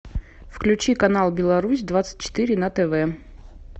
включи канал беларусь двадцать четыре на тв